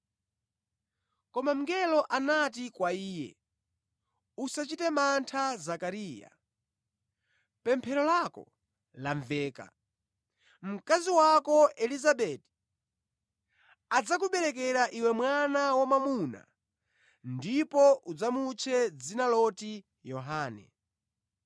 Koma mngeloyo anati kwa iye: “Usachite mantha, Zakariya; pemphero lako lamveka. Mkazi wako Elizabeti adzakuberekera iwe mwana wamwamuna ndipo udzamutche dzina loti Yohane.